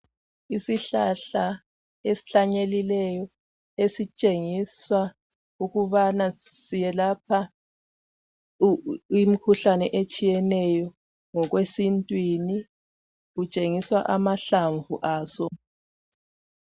Isihlahla esihlanyeliweyo esitshengisa ukubana siyelapha imikhuhlane etshiyeneyo ngokwesintwini kutshengiswa amahlamvu aso.